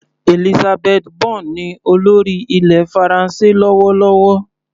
Elisabeth Borne ní olórí ilẹ̀ faransé lọ́wọ́lọ́wọ́.